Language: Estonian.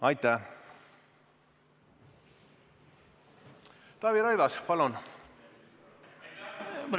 Taavi Rõivas, palun!